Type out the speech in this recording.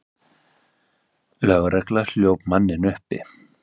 Lögregla hljóp manninn uppi.